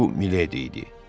Bu Milédi idi.